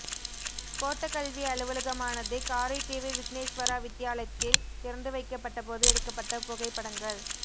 கோட்டக்கல்வி அலுவலகமானது காரைதீவு விக்னேஸ்வரா வித்தியாலயத்தில் திறந்துவைக்கப்பட்ட போது எடுக்கப்பட்ட புகைப்படங்கள்